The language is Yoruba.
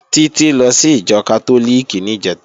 Títí lọ sí ìjọ Kátólíìkì níjẹ̀ta